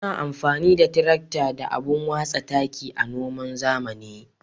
Muna amfani da tirakta da abun watsa taki a noman zamani.